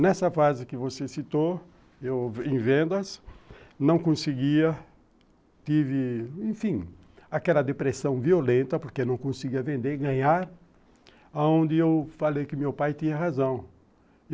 Nessa fase que você citou, em vendas, não conseguia, tive, enfim, aquela depressão violenta porque não conseguia vender, ganhar, onde eu falei que meu pai tinha razão.